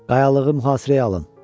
Qayalığı mühasirəyə alın.